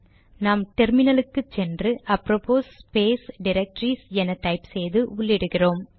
நாம் டெர்மினலுக்கு போய் அப்ரோபோஸ் ஸ்பேஸ் டிரக்டரிஸ் என டைப் செய்து உள்ளிடுகிறோம்